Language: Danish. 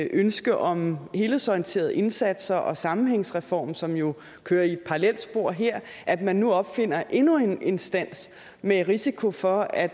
ønske om helhedsorienterede indsatser og en sammenhængsreform som jo kører i et parallelt spor her at man nu opfinder endnu en instans med risiko for at